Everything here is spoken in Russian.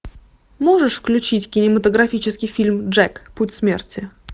можешь включить кинематографический фильм джек путь смерти